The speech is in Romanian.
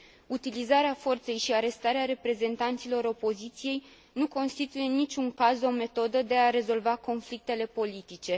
Utilizarea forței și arestarea reprezentanților opoziției nu constituie, în niciun caz, o metodă de a rezolva conflictele politice.